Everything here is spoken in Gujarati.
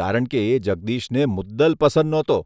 કારણ કે એ જગદીશને મુદલ પસંદ નહોતો !